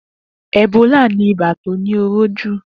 Ebólà ni ibà tó ni óró jú